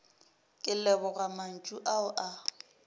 ke leboga mantšu ao a